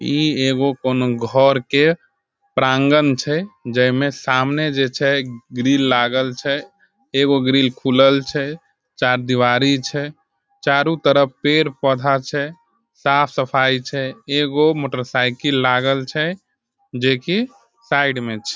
ई एगो कउनो घर के प्रांगण छे जे में सामने जे छे ग्रिल लागल छे। एगो ग्रिल खुलल छे चारदीवारी छे चारो तरफ पेड़-पौधा छे साफ़ सफाई छे। एगो मोटरसाइकिल लागल छे जे की साइड में छे।